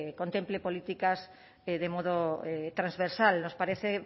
contemple políticas que de modo transversal nos parece